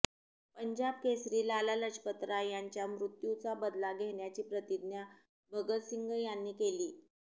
पंजाब केसरी लाला लजपतराय यांच्या मृत्यूचा बदला घेण्याची प्रतिज्ञा भगतसिंग यांनी घेतली